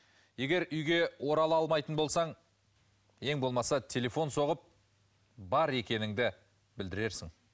егер үйге орала алмайтын болсаң ең болмаса телефон соғып бар екеніңді білдірерсің